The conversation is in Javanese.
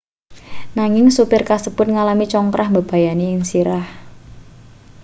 nanging supir kasebut ngalami congkrah mbebayani ing sirah